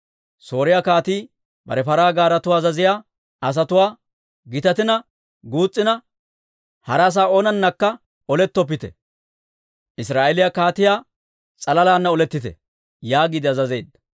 Sooriyaa kaatii bare paraa gaaretuwaa azaziyaa asatuwaa, «Gitatina guus's'ina, hara asaa oonanakka olettoppite; Israa'eeliyaa kaatiyaa s'alalana olettite» yaagiide azazeedda.